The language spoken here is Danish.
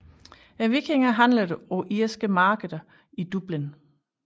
Vikingerne handlede på irske markeder i Dublin